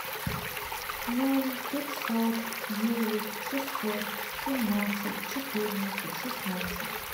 ноль пятьсот девять шестьсот семнадцать четырнадцать шестнадцать